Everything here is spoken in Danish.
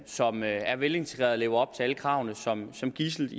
som er er velintegrerede og lever op til alle kravene som gidsel